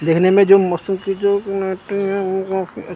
देखने में जो --